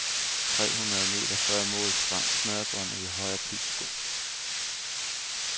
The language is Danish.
Tre hundrede meter før mål sprang snørebåndet i højre pigsko.